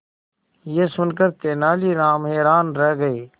यह सुनकर तेनालीराम हैरान रह गए